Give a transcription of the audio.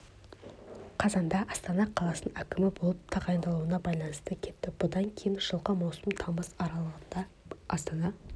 қазанда астана қаласының әкімі болып тағайындалуына байланысты кетті бұдан кейін жылғы маусым тамыз аралығында астана